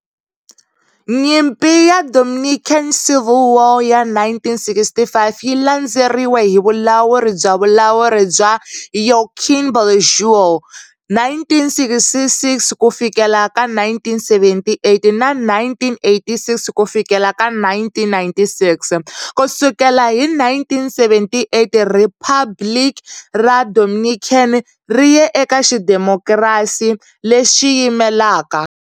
Nyimpi ya le Dominican Civil War ya 1965 yi landzeriwe hi vulawuri bya vulawuri bya Joaquín Balaguer 1966-1978 na 1986-1996. Ku sukela hi 1978, Riphabliki ra Dominican ri ye eka xidemokirasi lexi yimelaka.